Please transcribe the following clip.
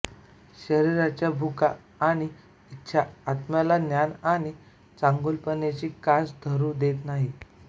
शरीराच्या भुका आणि इच्छा आत्म्याला ज्ञान आणि चांगुलपणाची कास धरू देत नाहीत